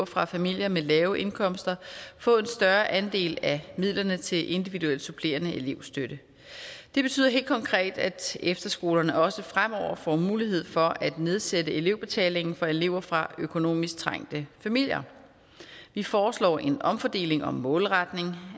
fra familier med lave indkomster få en større andel af midlerne til individuel supplerende elevstøtte det betyder helt konkret at efterskolerne også fremover får mulighed for at nedsætte elevbetalingen for elever fra økonomisk trængte familier vi foreslår en omfordeling og målretning